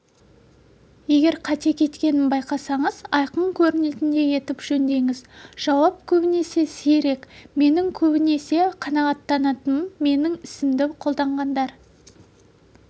егер қате кеткенін байқасаңыз айқын көрінетіндей етіп жөндеңіз жауап көбінесе сирек менің көбінесе қанағаттанатыным менің ісімді қолдағандар